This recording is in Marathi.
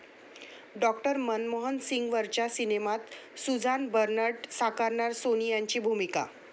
डॉ. मनमोहन सिंगांवरच्या सिनेमात सुझान बरनर्ट साकारणार सोनियांची भूमिका